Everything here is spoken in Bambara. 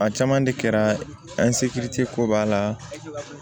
A caman de kɛra ko b'a la